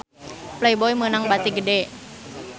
Playboy meunang bati gede